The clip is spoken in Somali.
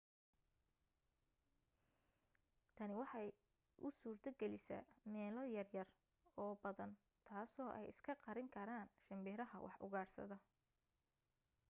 tani waxay u suurto galisaa meelo yaryar oo badan taasoo ay iska qarin karaan shimbiraha wax ugaadhsada